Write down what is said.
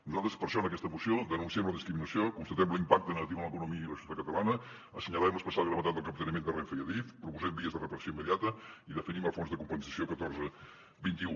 nosaltres per això en aquesta moció denunciem la discriminació constatem l’impacte negatiu en l’economia i la societat catalanes assenyalem l’especial gravetat del capteniment de renfe i adif proposem vies de reparació immediata i definim el fons de compensació catorze vint un